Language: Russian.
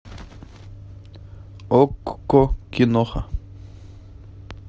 окко киноха